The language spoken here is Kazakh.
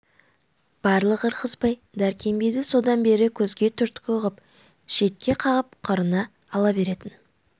барлық ырғызбай дәркембайды содан бері көзге түрткі ғып шетке қағып қырына ала беретін